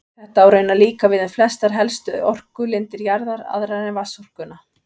Þetta á raunar líka við um flestar helstu orkulindir jarðar, aðrar en vatnsorkuna.